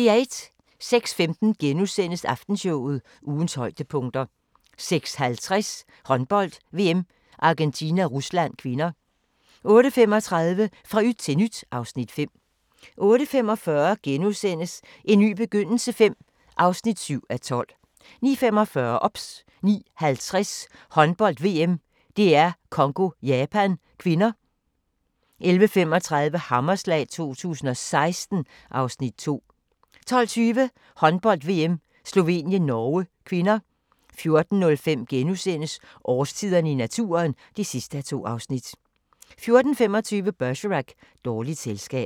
06:15: Aftenshowet – ugens højdepunkter * 06:50: Håndbold: VM - Argentina-Rusland (k) 08:35: Fra yt til nyt (Afs. 5) 08:45: En ny begyndelse V (7:12)* 09:45: OBS 09:50: Håndbold: VM - DR Congo-Japan (k) 11:35: Hammerslag 2016 (Afs. 2) 12:20: Håndbold: VM - Slovenien-Norge (k) 14:05: Årstiderne i naturen (2:2)* 14:25: Bergerac: Dårligt selskab